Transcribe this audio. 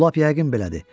Bu lap yəqin belədir.